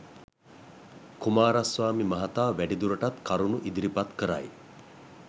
කුමාරස්වාමී මහතා වැඩිදුරටත් කරුණු ඉදිරිපත් කරයි